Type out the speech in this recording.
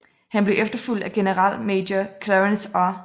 Han blev efterfulgt af generalmajor Clarence R